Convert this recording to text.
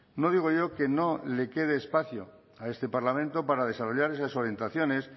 no digo yo que no le quede espacio a este parlamento para desarrollar esas orientaciones